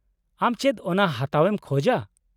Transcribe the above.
-ᱟᱢ ᱪᱮᱫ ᱚᱱᱟ ᱦᱟᱛᱟᱣ ᱮᱢ ᱠᱷᱚᱡ ᱟ?